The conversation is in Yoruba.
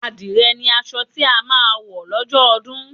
Àdìrẹ ni aṣọ tí a máa wọ̀ lọ́jọ́ ọdún